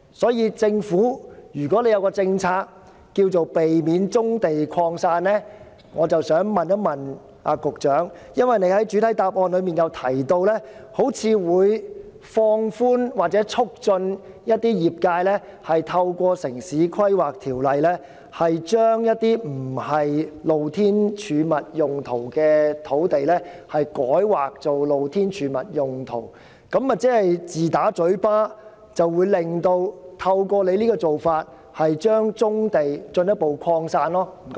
所以，政府的政策若是要避免棕地擴散，我便要問局長，假如根據他在主體答覆中提出的做法，放寬或促進業界人士透過《城市規劃條例》，把非用作"露天貯物"用途的土地改劃作"露天貯物"用途，這豈不是自打嘴巴，透過這種做法讓棕地進一步擴散？